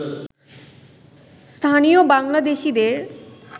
স্থানীয় বাংলাদেশিদের